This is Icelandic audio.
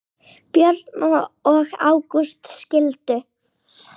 Björg og Ágúst skildu.